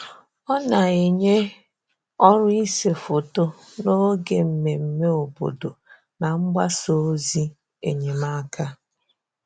Ọ na-enyè ọrụ̀ ise foto n’oge mmemme obodo na mgbasa ozi enyemáka.